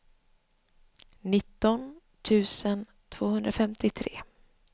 nitton tusen tvåhundrafemtiotre